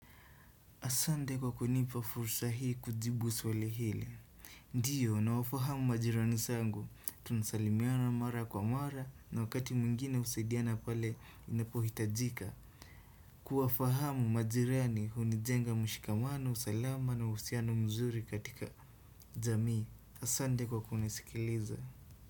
Asante kwa kunipa fursa hii kujibu swali hili. Ndio, nawafahamu majirani zangu, tunasalimiana mara kwa mara, na wakati mwingine husaidiana pale inapohitajika. Kuwafahamu majirani hunijenga mshikamano, usalama na uhusiano mzuri katika jamii. Asante kwa kunisikiliza.